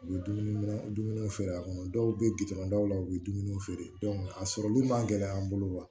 U bɛ dumuni dumuniw feere a kɔnɔ dɔw bɛ dɔw la u bɛ dumuniw feere a sɔrɔliw man gɛlɛ an bolo wa